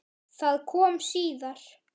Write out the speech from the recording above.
Það kom síðar.